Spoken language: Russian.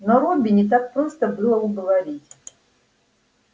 но робби не так просто было уговорить